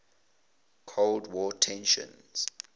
cold war tensions